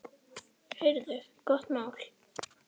Heyrðu, gott mál.